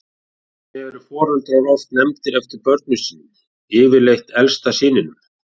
Einnig eru foreldrar oft nefndir eftir börnum sínum, yfirleitt elsta syninum.